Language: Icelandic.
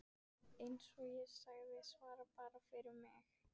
Eins og ég segi: Ég svara bara fyrir mig.